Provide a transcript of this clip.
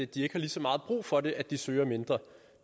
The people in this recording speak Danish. de ikke har lige så meget brug for det at de søger mindre